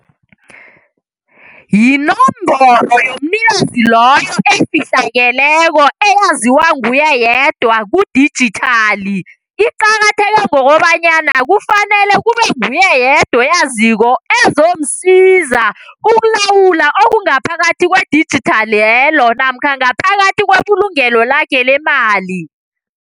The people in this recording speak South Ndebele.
Yinomboro yomnikazi loyo efihlakeleko eyaziwa nguye yedwa kudijithali. Iqakatheke ngokobanyana kufanele kube nguye yedwa oyaziko ezomsiza ukulawula okungaphakathi kwe-digital leyo namkha ngaphakathi kwebulungelo lakhe lemali.